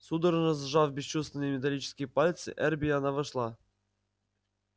судорожно сжав бесчувственные металлические пальцы эрби она вошла